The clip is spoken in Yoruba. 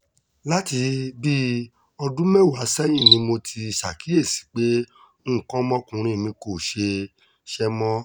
láti bíi ọdún mẹ́wàá sẹ́yìn ni mo ti ṣàkíyèsí pé nǹkan ọmọkùnrin mi kò ṣiṣẹ́ mọ́